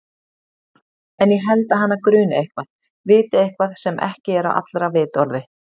En ég held að hana gruni eitthvað, viti eitthvað sem ekki er á allra vitorði.